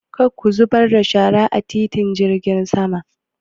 Kar ku zubar da shara a titin jirgin sama!